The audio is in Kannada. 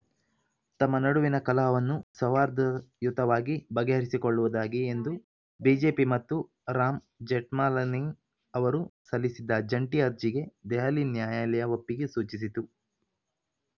ತಮ್ಮ ನಡುವಿನ ಕಲಹವನ್ನು ಸೌಹಾರ್ದಯುತವಾಗಿ ಬಗೆಹರಿಸಿಕೊಳ್ಳುವುದಾಗಿ ಎಂದು ಬಿಜೆಪಿ ಮತ್ತು ರಾಮ್‌ ಜೇಠ್ಮಲನಿ ಅವರು ಸಲ್ಲಿಸಿದ್ದ ಜಂಟಿ ಅರ್ಜಿಗೆ ದೆಹಲಿ ನ್ಯಾಯಾಲಯ ಒಪ್ಪಿಗೆ ಸೂಚಿಸಿತು